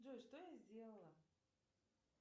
джой что я сделала